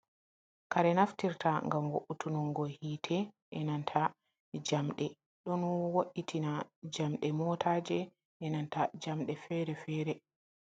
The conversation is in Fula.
Kare naftirta ngam wo’utungo hitte, enanta jamɗe , ɗon wo’itina jamɗe motaje, e nanta jamɗe fere-fere.